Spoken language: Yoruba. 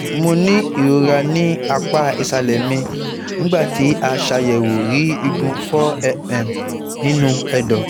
Mo ní ìrora ní apá ìsàlẹ̀ mi, nígbà tí aṣàyẹ̀wò rí igun four mm nínú ẹ̀dọ̀